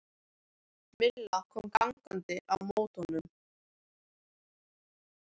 Milla kom gangandi á móti honum.